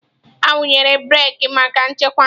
Awụnyere breeki maka nchekwa.